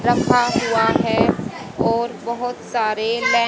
रखा हुआ है और बहुत सारे लै--